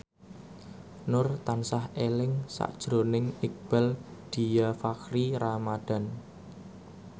Nur tansah eling sakjroning Iqbaal Dhiafakhri Ramadhan